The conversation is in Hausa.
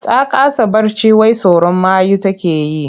Ta kasa barci wai tsoron mayu take yi.